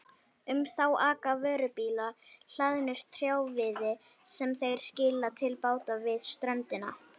Um þá aka vörubílar hlaðnir trjáviði sem þeir skila til báta við ströndina.